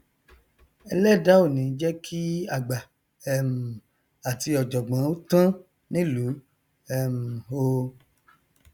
ẹlẹdàá ò ní jẹ kí àgbà um àti ọjọgbọn ó tán nílùú um o